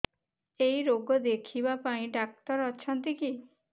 ଏଇ ରୋଗ ଦେଖିବା ପାଇଁ ଡ଼ାକ୍ତର ଅଛନ୍ତି କି